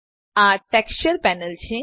આ texture panel છે